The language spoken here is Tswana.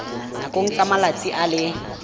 nakong ya malatsi a le